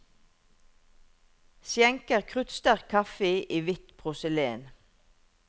Skjenker kruttsterk kaffe i hvitt porselen.